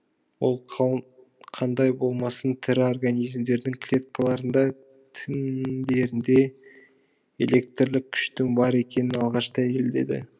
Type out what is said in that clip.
ол қандай болмасын тірі организмдердің клеткаларында тіндерінде электрлік күштің бар екенін алғаш дәлелдеді